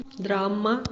драма